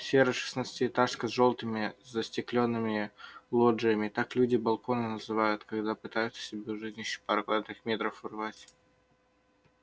серая шестнадцатиэтажка с жёлтыми застеклёнными лоджиями так люди балконы называют когда пытаются себе у жизни ещё пару квадратных метров урвать